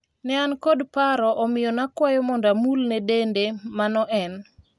ne an kod paro omiyo nakwayo mondo amulne dende mano en